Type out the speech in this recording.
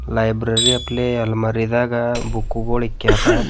ಲೈಬ್ರರಿಯ ಪ್ಲೇ ಅಲ್ಮಾರಿದಾಗ ಬುಕ್ಕುಗುಳ್ ಇಕ್ಯಾರ.